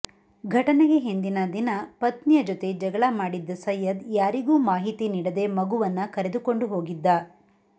ಘಟನೆಗೆ ಹಿಂದಿನ ದಿನ ಪತ್ನಿಯ ಜೊತೆ ಜಗಳ ಮಾಡಿದ್ದ ಸೈಯ್ಯದ್ ಯಾರಿಗೂ ಮಾಹಿತಿ ನೀಡದೆ ಮಗುವನ್ನ ಕರೆದುಕೊಂಡು ಹೋಗಿದ್ದ